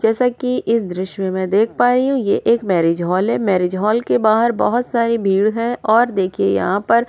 जैसा कि इस दृश्य में मैं देख पा रही हूं ये एक मैरिज हॉल है मैरिज हॉल के बाहर बहुत सारी भीड़ है और देखिए यहां पर --